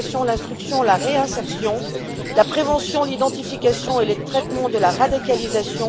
l'éducation, l'instruction et la réinsertion la prévention, l'identification et le traitement de la radicalisation